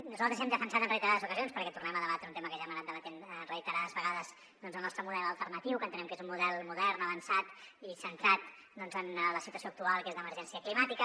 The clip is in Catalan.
nosaltres hem defensat en reiterades ocasions perquè tornem a debatre un tema que ja hem anat debatent reiterades vegades el nostre model alternatiu que entenem que és un model modern avançat i centrat doncs en la situació actual que és d’emergència climàtica